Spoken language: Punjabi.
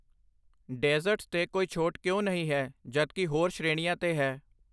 ਡੇਜ਼ਰਟਸ 'ਤੇ ਕੋਈ ਛੋਟ ਕਿਉਂ ਨਹੀਂ ਹੈ ਜਦੋਂ ਕਿ ਹੋਰ ਸ਼੍ਰੇਣੀਆਂ ਤੇ ਹੈ?